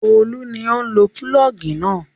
Olú ni ó ń lo pulọ́ọ́gì náà.